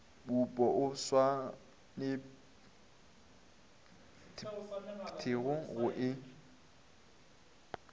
mmupo o swanetpego go e